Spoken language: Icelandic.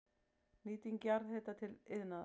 Nýting jarðhita til iðnaðar